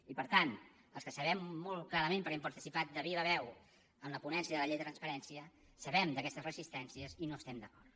i per tant els que sabem molt clarament perquè hem participat de viva veu en la ponència de la llei de transparència sabem aquestes resistències i no hi estem d’acord